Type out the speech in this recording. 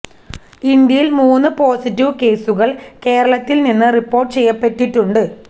ഇന്ത്യയിൽ മൂന്ന് പോസിറ്റീവ് കേസുകൾ കേരളത്തിൽ നിന്ന് റിപ്പോർട്ട് ചെയ്യപ്പെട്ടിട്ടുണ്ട്